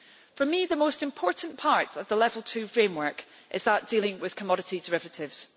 For me the most important parts of the level 2 framework are dealing with commodity derivatives.